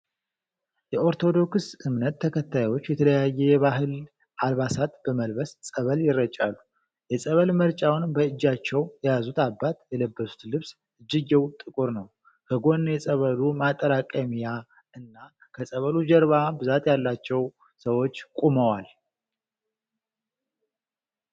የኦርቶዶክስ እምነት ተከታዮች የተለያየ የባህል አልባሳት በመልበስ ፀበል ይረጫሉ። የፀበል መርጫዉን በእጃቸዉ የያዙ አባት የለበሱት ልብስ እጅጌዉ ጥቁር ነዉ። ከጎን የፀበሉ ማጠራቀሚያ እና ከፀበሉ ጀርባ ብዛት ያላቸዉ ሰዎች ቆመዋል።